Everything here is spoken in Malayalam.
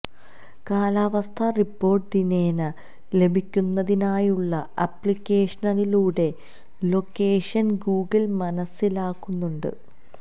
കാലാവസ്ഥ റിപ്പോർട്ട് ദിനേന ലഭിക്കുന്നതിനായുളള ആപ്ലിക്കേഷനിലൂടെ ലൊക്കേഷൻ ഗൂഗിൾ മനസിലാക്കുന്നുണ്ട്